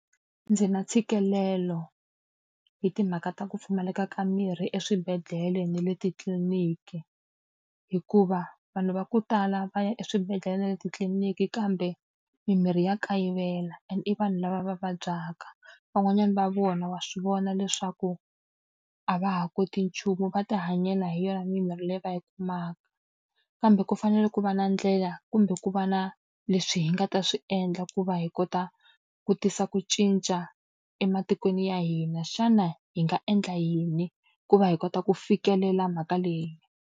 Ndzi na ntshikelelo hi timhaka ta ku pfumaleka ka mirhi eswibedhlele na le titliliniki. Hikuva vanhu va ku tala va ya eswibedhlele na le titliliniki kambe mimirhi ya kayivela and i vanhu lava va vabyaka. Van'wanyana va vona wa swi vona leswaku a va ha koti nchumu va tihanyela hi yona mimirhi leyi va yi kumaka. Kambe ku fanele ku va na a ndlela kumbe ku va na leswi hi nga ta swi endla ku va hi kota ku tisa ku cinca ematikweni ya hina. Xana hi nga endla yini ku va hi kota ku fikelela mhaka leyi?